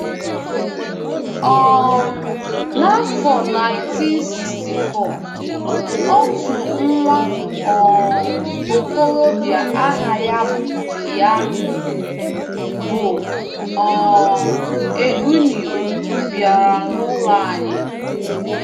um N’afọ naintin siksti fọ, otu nwa um okorobịa aha ya bụ ya bụ um Eugenio bịara n’ụlọ anyị.